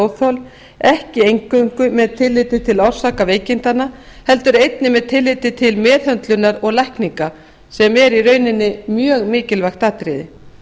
rafsegulóþol ekki eingöngu með tilliti til orsaka veikindanna heldur einnig með tilliti til meðhöndlunar og lækninga sem er mjög mikilvægt atriði